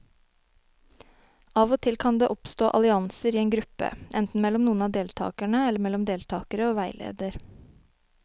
Av og til kan det oppstå allianser i en gruppe, enten mellom noen av deltakerne eller mellom deltakere og veileder.